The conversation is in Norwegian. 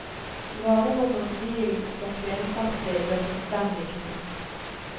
Varerommet på bilen som kvinnen satt i, ble fullstendig knust.